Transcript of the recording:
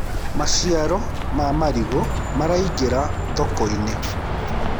maciaro ma marigu maraingira thoko-inĩ